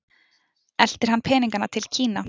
Eltir hann peninganna til Kína?